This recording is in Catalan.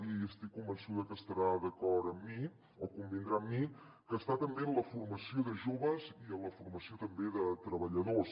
i estic convençuda que estarà d’acord amb mi o convindrà amb mi que està també en la formació de joves i en la formació també de treballadors